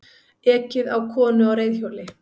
Ekið á konu á reiðhjóli